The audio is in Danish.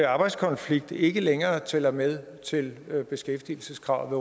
arbejdskonflikt ikke længere tæller med til beskæftigelseskravet